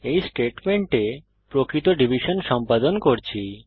এই স্টেটমেন্টে আমরা প্রকৃত ডিভিশন সম্পাদন করছি